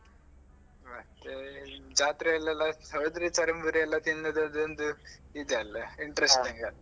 ಮತ್ತೆ ಜಾತ್ರೆಯಲ್ಲೆಲ್ಲ ಹೋದ್ರೆ ಚರ್ಮುರಿ ಎಲ್ಲ ತಿನ್ನುದ್ ಅದೊಂದು ಇದ್ ಅಲ್ಲ interesting ಅಲ್ವ.